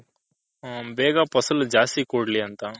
ಬೇಗ ಪಸಲು ಜಾಸ್ತಿ ಕೂಡ್ಲಿ ಅಂತ.